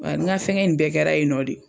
Wa ŋa fɛngɛn in bɛɛ kɛra yen nɔ de o.